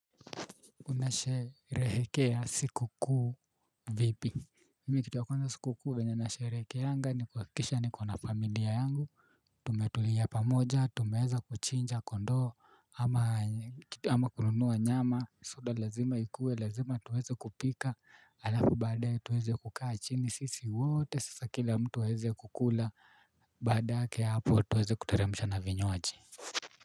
Unasherehekea sikukuu vipi. Mimi kitu ya kwanza sikukuu venye nasherehekeanga ni kuhakikisha nikona familia yangu. Tumetulia pamoja tumeweza kuchinja kondoo ama kununua nyama soda lazima ikue lazima tuweze kupika alafu baadaye tuweze kukaa chini sisi wote sasa kila mtu aweze kukula baadake hapo tuweze kuteremsha na vinywaji.